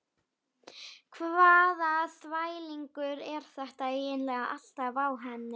Hvaða þvælingur er þetta eiginlega alltaf á henni?